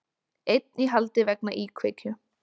Einn í haldi vegna íkveikju